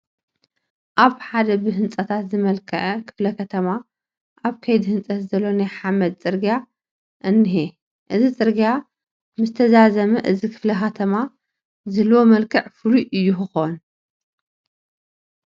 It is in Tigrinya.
ኣብ ሓደ ብህንፃታት ዝመልክዐ ክፍለ ከተማ ኣብ ከይዲ ህንፀት ዘሎ ናይ ሓመድ ፅርጊያ እኒሀ፡፡ እዚ ፅርጊይ ምስተዛዘመ እዚ ክፍለ ከተማ ዝህልዎ መልክዕ ፍሉይ እዩ ክኾን፡፡